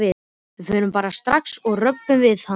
Við förum bara strax og röbbum við hann.